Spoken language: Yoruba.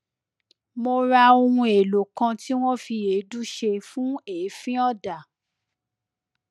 mo ra ohun èlò kan tí wọn fi èédú ṣe fún èéfín ọdà